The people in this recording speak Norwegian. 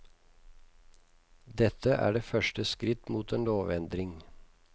Dette er et første skritt mot en lovendring.